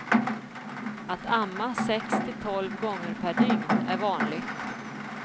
Att amma sex till tolv gånger per dygn är vanligt.